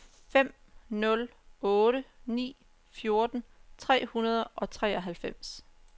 fem nul otte ni fjorten tre hundrede og treoghalvfems